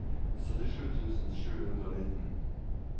syttisju tusen sju hundre og nitten